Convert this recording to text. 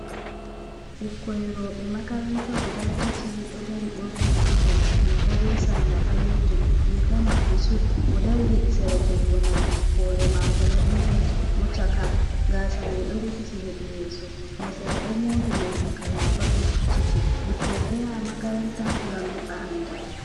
Ɓikkoi rowɓe makaranta guda tati ɗo dari ɓorni uniform riga be sarla ɓalejum, riga maɓɓe sud mo dari hedi sera jungo nano hore mako laɓinga, mo chaka gasa mai ɗo rufiti hedi yeso, mo sera ɗo mori morɗi kalaba ɗo vicciti. Ɓikkoi ɗo yaha makaranta ngam heɓa andal.